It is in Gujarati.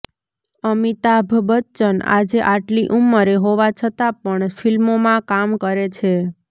અમિતાભ બચ્ચન આજે આટલી ઉંમરે હોવા છતાં પણ ફિલ્મોમાં કામ કરે છે